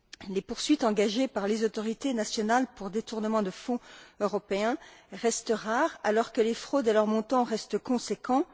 Les poursuites engagées par les autorités nationales pour détournement de fonds européens restent rares, alors que les fraudes et leurs montants restent conséquents.